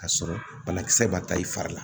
Ka sɔrɔ banakisɛ ma ta i fari la